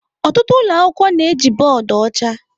Ọtụtụ ụlọ akwụkwọ na-eji bọọdụ ọcha.